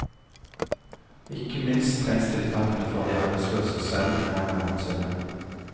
Ikke minst trengs tiltakene for de arbeidsløse selv, mer enn noensinne.